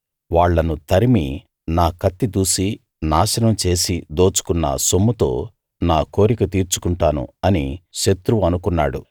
వాళ్ళను తరిమి నా కత్తి దూసి నాశనం చేసి దోచుకున్న సొమ్ముతో నా కోరిక తీర్చుకుంటాను అని శత్రువు అనుకున్నాడు